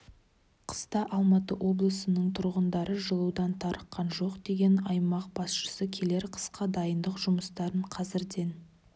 қыста алматы облысының тұрғындары жылудан тарыққан жоқ деген аймақ басшысы келер қысқа дайындық жұмыстарын қазірден